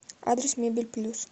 адрес мебель плюс